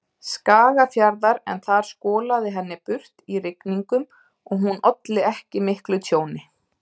Skagafjarðar en þar skolaði henni burt í rigningum og hún olli ekki miklu tjóni.